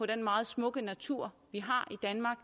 den meget smukke natur vi har i danmark